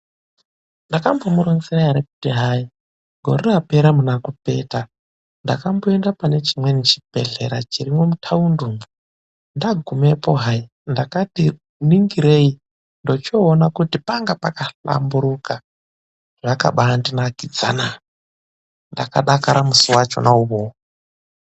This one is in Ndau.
Ndakambomuronzera ere kuti hayi, gore rapera muna Kupeta ndakamboenda pane chimweni chibhedhlera chirimwo muthaundi umwo? Ndagumepo hayi, ndakati ningirei, ndochoona kuti panga pakahlamburuka. Zvakabaandinakidzana. Ndakadakara musi wachona uwowo.